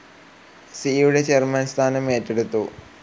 സിയുടെ ചെയർമാൻ സ്ഥാനം ഏറ്റെടുത്തു.